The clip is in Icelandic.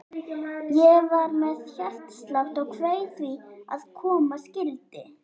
Ég var með hjartslátt og kveið því sem koma skyldi.